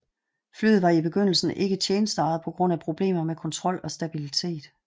Flyet var i begyndelsen ikke tjenesteegnet på grund af problemer med kontrol og stabillitet